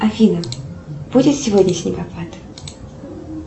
афина будет сегодня снегопад